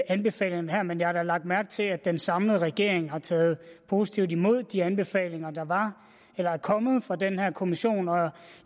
anbefalingerne her men jeg har da lagt mærke til at den samlede regering har taget positivt imod de anbefalinger der er kommet fra den her kommission nu er